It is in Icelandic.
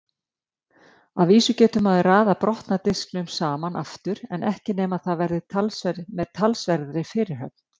Að vísu getur maður raðað brotna disknum saman aftur en ekki nema með talsverðri fyrirhöfn.